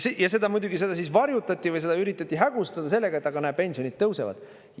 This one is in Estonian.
Ja seda muidugi varjutati või seda üritati hägustada sellega, et aga näe, pensionid tõusevad.